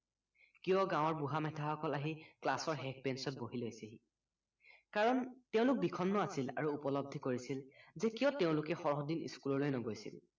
কিয় গাৱৰ বুঢ়া মেথা সককল আহি ক্লাছৰ শেষ banch ত বহি লৈছেহি কাৰণ তেওঁলোক বিষন্ন আছিল আৰু উপলব্ধি কৰিছিল যে কিয় তেওঁলোকে সৰহদিন school নগৈছিল